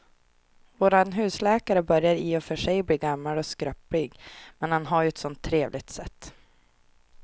Vår husläkare börjar i och för sig bli gammal och skröplig, men han har ju ett sådant trevligt sätt!